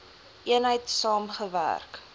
eenheid saam gewerk